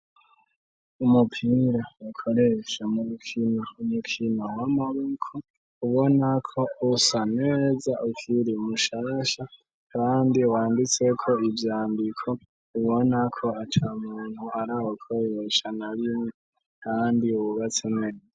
Umuupira ukoresha mu mukino , umukino w'amaboko ubona ko usa neza ukiri mushasha kandi wanditseko ivyyandiko ubona ko ata muntu arawukoresha na rimwe kandi wubatse neza.